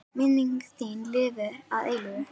Minning þín lifir að eilífu.